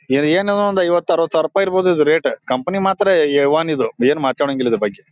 ಇದ್ರ್ ಏನ್ ಒಂದ್ ಐವತ್ ಅರವತ್ ಸಾವಿರ ರೂಪಾಯಿ ಇರಬಹುದು ರೇಟ್ ಕಂಪನಿ ಮಾತ್ರ ಎ ಒನ್ ಇದು ಏನ್ ಮಾತಾಡಂಗಿಲ್ಲ ಇದ್ರ ಬಗ್ಗೆ.